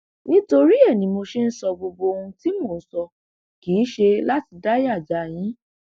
nítorí ẹ ní mo ṣe ń sọ gbogbo ohun tí mò ń sọ kì í ṣe láti dáyà já yín